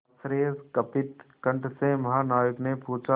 आश्चर्यकंपित कंठ से महानाविक ने पूछा